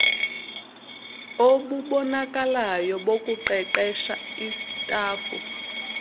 obubonakalayo bokuqeqesha istafu